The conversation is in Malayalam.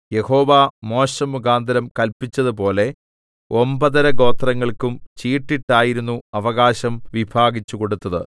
യഹോവ മോശെമുഖാന്തരം കല്പിച്ചതുപോലെ ഒമ്പതര ഗോത്രങ്ങൾക്കും ചീട്ടിട്ടായിരുന്നു അവകാശം വിഭാഗിച്ചുകൊടുത്തത്